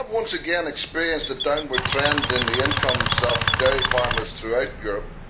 We have once again experienced a downward trend in the incomes of dairy farmers throughout Europe.